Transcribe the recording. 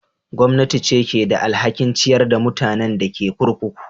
Gwamnati ce ke da alhakin ciyar da mutanen da ke kurkuku.